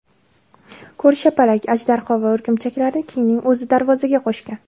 Ko‘rshapalak, ajdarho va o‘rgimchaklarni Kingning o‘zi darvozaga qo‘shgan.